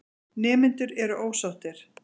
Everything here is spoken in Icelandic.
Nemendur eru ósáttir.